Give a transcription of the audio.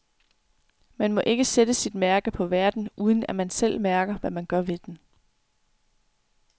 Man må ikke sætte sit mærke på verden, uden at man selv mærker, hvad man gør ved den.